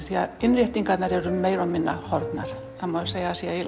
því að innréttingarnar eru meira og minna horfnar það má segja að það sé